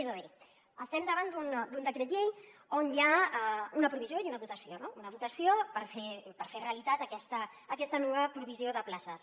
és a dir estem davant d’un decret llei on hi ha una provisió i una dotació no una dotació per fer realitat aquesta nova provisió de places